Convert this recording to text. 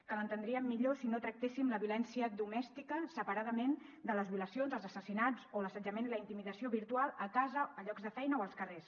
que l’entendríem millor si no tractéssim la violència domèstica separadament de les violacions els assassinats o l’assetjament i la intimidació virtual a casa en llocs de feina o als carrers